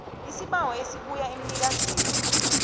isibawo ebuya emnikazini